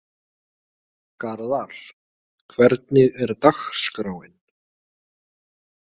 Garðar, hvernig er dagskráin?